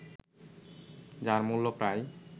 যার মূল্য প্রায়